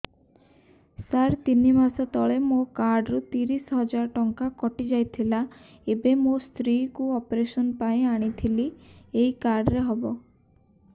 ସାର ତିନି ମାସ ତଳେ ମୋ କାର୍ଡ ରୁ ତିରିଶ ହଜାର ଟଙ୍କା କଟିଯାଇଥିଲା ଏବେ ମୋ ସ୍ତ୍ରୀ କୁ ଅପେରସନ ପାଇଁ ଆଣିଥିଲି ଏଇ କାର୍ଡ ରେ ହବ